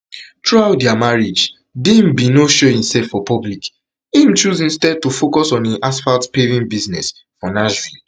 throughout dia marriage dean bin no show imself for public im choose instead to to focus on im asphaltpaving business for nashville